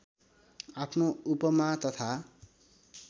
आफ्नो उपमा तथा